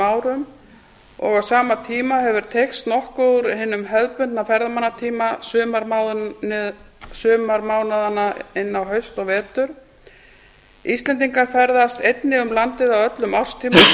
árum og á sama tíma hefur teygst nokkuð úr hinum hefðbundna ferðamannatíma sumarmánaðanna inn á haust og vetur íslendingar ferðast einnig um landið á öllum árstímum